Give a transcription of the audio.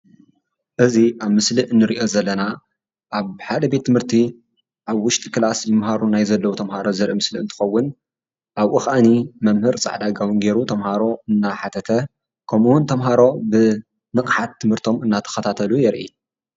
እዚ ኣብ ምስሊ ንሪኦ ዘለና ኣብ ሓደ ቤት ትምህርቲ ኣብ ውሽጢ ክላስ ይመሃሩ ናይ ዘለዉ ተመሃሮ ዘርኢ ምስሊ እንትኸውን ኣብኡ ከዓኒ መምህር ፃዕዳ ጋቦን ገይሩ ተመሃሮ እናሓተተ ከምኡውን ተመሃሮ ብንቕሓት ትምህርቶም እናተኸታተሉ የርኢ፡፡